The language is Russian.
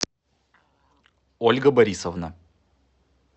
ольга борисовна